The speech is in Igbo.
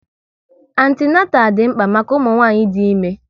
Antinatal dị mkpa maka ụmụnwanyị dị ime